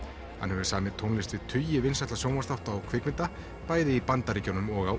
hann hefur samið tónlist við tugi vinsælla sjónvarpsþátta og kvikmynda bæði í Bandaríkjunum og á